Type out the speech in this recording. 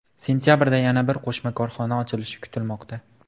Sentabrda yana bir qo‘shma korxona ochilishi kutilmoqda.